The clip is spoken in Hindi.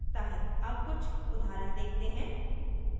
अब कुछ उदाहरण देखते हैं